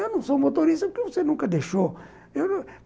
Eu não sou motorista, porque você nunca deixou?